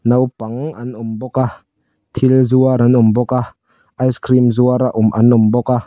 naupang an awm bawk a thil zuar an awm bawk a ice cream zuar a an awm bawk a.